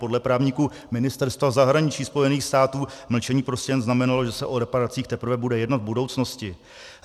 Podle právníků Ministerstva zahraniční Spojených států mlčení prostě jen znamenalo, že se o reparacích teprve bude jednat v budoucnosti.